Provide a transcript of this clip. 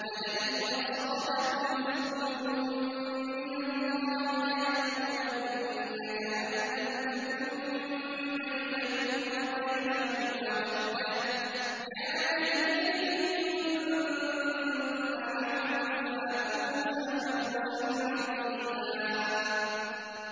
وَلَئِنْ أَصَابَكُمْ فَضْلٌ مِّنَ اللَّهِ لَيَقُولَنَّ كَأَن لَّمْ تَكُن بَيْنَكُمْ وَبَيْنَهُ مَوَدَّةٌ يَا لَيْتَنِي كُنتُ مَعَهُمْ فَأَفُوزَ فَوْزًا عَظِيمًا